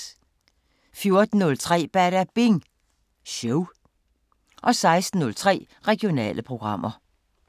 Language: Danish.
14:03: Badabing Show 16:03: Regionale programmer